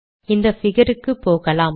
இந்த பிகர் க்கு போகலாம்